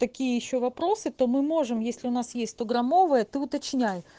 такие ещё вопросы то мы можем если у нас есть то стограммовые ты уточняй